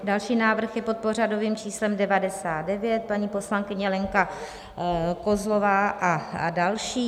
Další návrh je pod pořadovým číslem 99, paní poslankyně Lenka Kozlová a další.